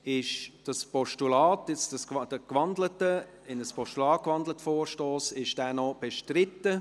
Ist dieser in ein Postulat gewandelte Vorstoss noch bestritten?